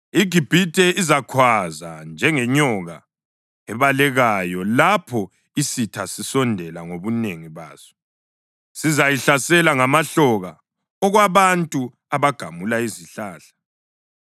IGibhithe izakhwaza njengenyoka ebalekayo lapho isitha sisondela ngobunengi baso; sizayihlasela ngamahloka okwabantu abagamula izihlahla.